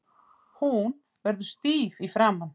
Hún verður stíf í framan.